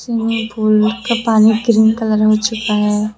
मैं पुल का पानी ग्रीन कलर का हो चुका है।